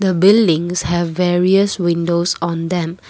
buildings have various windows on them.